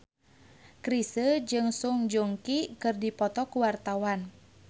Chrisye jeung Song Joong Ki keur dipoto ku wartawan